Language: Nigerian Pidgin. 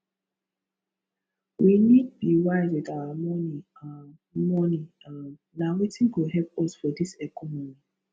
we need be wise with our money um money um na wetin go help us for dis economy